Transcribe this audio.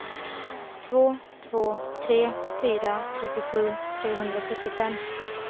två två tre fyra trettiosju trehundrasjuttiofem